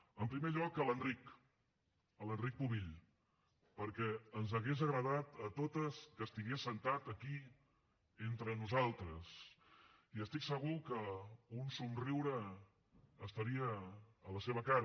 en primer lloc a l’enric a l’enric pubill perquè ens hauria agradat a totes que estigués assegut aquí entre nosaltres i estic segur que un somriure hi hauria a la seva cara